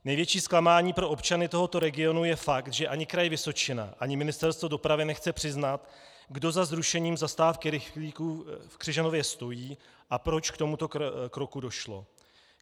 Největší zklamání pro občany tohoto regionu je fakt, že ani Kraj Vysočina ani Ministerstvo dopravy nechce přiznat, kdo za zrušením zastávky rychlíků v Křižanově stojí a proč k tomuto kroku došlo.